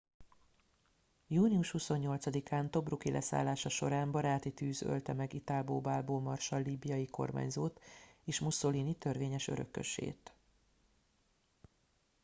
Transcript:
június 28 án tobruk i leszállása során baráti tűz ölte meg italbo balbo marsall líbiai kormányzót és mussolini törvényes örökösét